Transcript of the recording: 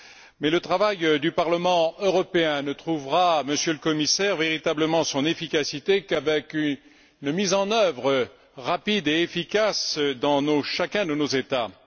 Mais le travail du Parlement européen ne trouvera, Monsieur le Commissaire, véritablement son efficacité qu'avec une mise en œuvre rapide et efficace dans chacun de nos États.